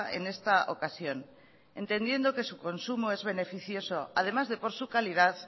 en esta ocasión entendiendo que su consumo es beneficioso además de por su calidad